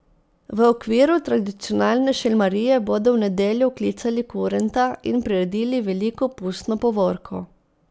V okviru tradicionalne Šelmarije bodo v nedeljo oklicali kurenta in priredili veliko pustno povorko.